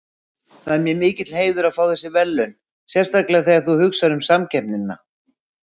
Það er mér mikill heiður að fá þessi verðlaun sérstaklega þegar þú hugsar um samkeppnina.